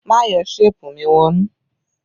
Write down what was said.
Má yọ ṣéèpù mi wọnú!